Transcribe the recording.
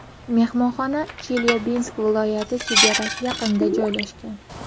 Mehmonxona Chelyabinsk viloyati chegarasi yaqinida joylashgan.